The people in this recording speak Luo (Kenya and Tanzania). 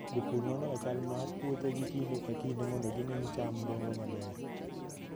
Jopur nonoga chal mar puothegi kinde ka kinde mondo gine ni cham dongo maber.